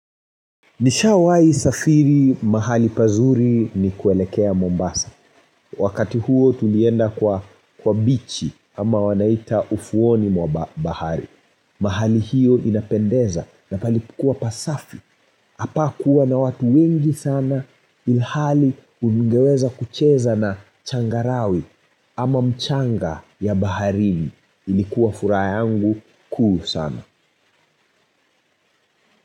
Nishawai safiri mahali pazuri ni kuelekea Mombasa. Wakati huo tulienda kwa bichi ama wanaita ufuoni mwa bahari. Mahali hiyo inapendeza na palikua pasafi. Hapakuwa na watu wengi sana ilhali ungeweza kucheza na changarawe. Ama mchanga ya baharini. Ilikuwa furaha yangu kuu sana.